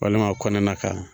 Walima kɔnɛnaka.